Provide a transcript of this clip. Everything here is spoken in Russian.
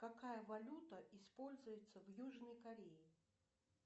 какая валюта используется в южной корее